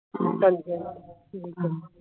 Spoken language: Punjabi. ਹਾ